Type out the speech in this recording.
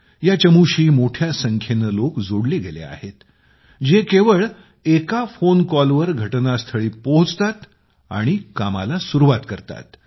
या चमूशी मोठ्या संख्येने लोक जोडले गेले आहेत जे केवळ एका फोन कॉलवर घटनास्थळी पोहोचतात आणि त्यांच्या मोहिमेत सामील होतात